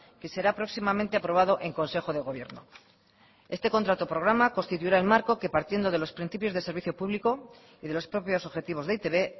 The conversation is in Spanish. que será próximamente aprobado en consejo de gobierno este contrato programa constituirá el marco que partiendo de los principios de servicio público y de los propios objetivos de e i te be